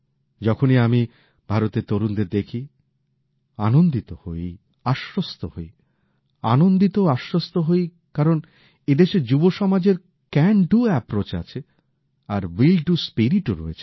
যখনই আমি ভারতের তরুণদের দেখি আনন্দিত হই আশ্বস্ত হই আনন্দিত ও আশ্বস্ত হই কারণ এ দেশের যুবসমাজের সব কিছু পারার চেষ্টা আছে আর করবার মানসিকতাও রয়েছে